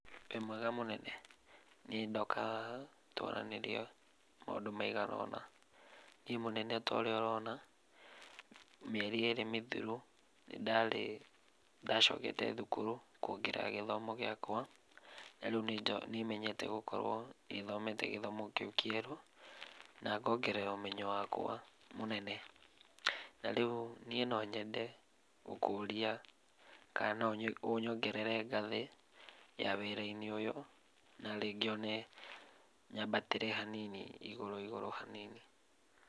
Wĩ mwega mũnene. Niĩ ndoka haha twaranĩrie maũndũ maigana ũna. Niĩ mũnene ota ũrĩa ũrona, mĩeri ĩrĩ mĩthiru nĩndarĩ nĩndacokete thukuru kuongerera gĩthomo gĩakwa. Narĩu nĩmenyete gũkorwo nĩthomete gĩthomo kĩu kĩerũ, na ngongerera ũmenyo wakwa mũnene. Na rĩu niĩ nonyende gũkũria kana no ũnyongerere ngathĩ ya wĩra-inĩ ũyũ, narĩ ngĩone nyambatĩre hanini, igũrũ igũrũ hanini